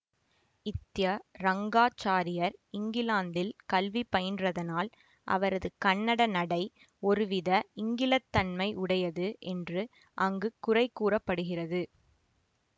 த்ய ரங்காச்சாரியர் இங்கிலாந்தில் கல்வி பயின்றதனால் அவரது கன்னட நடை ஒருவித ங்கிலத்தன்மை உடையது என்று அங்கு குறை கூற படுகிறது